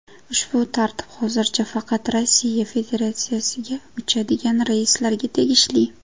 Ushbu tartib hozircha faqat Rossiya Federatsiyasiga uchadigan reyslarga tegishli.